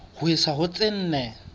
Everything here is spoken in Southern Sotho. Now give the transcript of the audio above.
ho isa ho tse nne